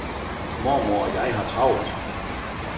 Mormor og jeg har travlt.